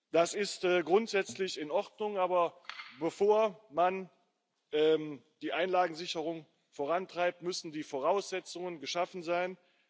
Das ist grundsätzlich in Ordnung, aber bevor man die Einlagensicherung vorantreibt, müssen die Voraussetzungen geschaffen sein.